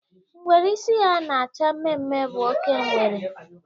Ngwere isi ya na-acha mmemme bụ oke ngwere.